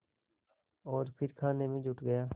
और फिर खाने में जुट गया